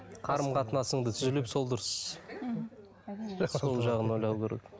қарым қатынасыңды түзелеп сол дұрыс сол жағын ойлау керек